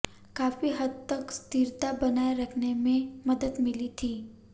काफी हद तक स्थिरता बनाये रखने में मदद मिली थी